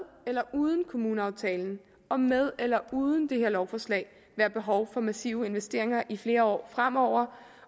eller uden kommuneaftalen og med eller uden det her lovforslag være behov for massive investeringer i flere år fremover